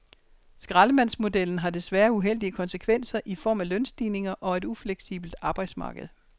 Skraldemandsmodellen har desværre uheldige konsekvenser i form af lønstigninger og et ufleksibelt arbejdsmarked.